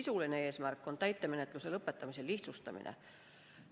Sisuline eesmärk on täitemenetluse lõpetamist lihtsustada.